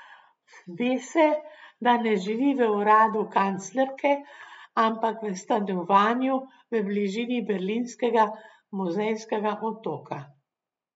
Ve se, da ne živi v uradu kanclerke, ampak v stanovanju v bližini berlinskega muzejskega otoka.